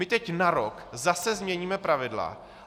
My teď na rok zase změníme pravidla.